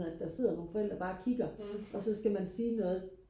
at der sidder nogle forældre bare og kigger og så skal man sige noget